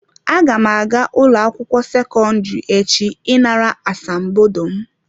Aga m aga ụlọ akwụkwọ sekọndrị echi ị nara asambodo m.